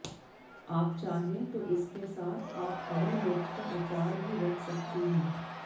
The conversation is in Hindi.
आप चाहें तो इसके साथ आप हरी मिर्च का अचार भी रख सकती हैं